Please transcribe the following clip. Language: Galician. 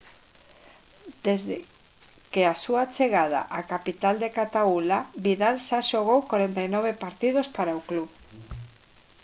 desde que a súa chegada á capital de cataula vidal xa xogou 49 partidos para o club